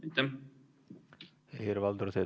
Helir-Valdor Seeder, palun!